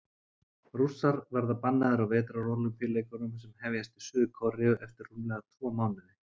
Rússar verða bannaðir á Vetrarólympíuleikunum sem hefjast í Suður-Kóreu eftir rúmlega tvo mánuði.